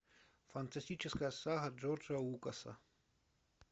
фантастическая сага джорджа лукаса